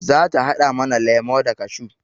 Za ta haɗa mana lemo da kashew